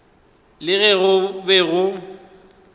le ge go be go